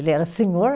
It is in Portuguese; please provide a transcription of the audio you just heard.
Ele era senhor